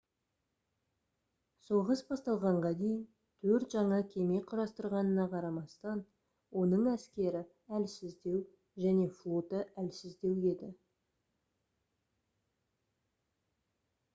соғыс басталғанға дейін төрт жаңа кеме құрастырғанына қарамастан оның әскері әлсіздеу және флоты әлсіздеу еді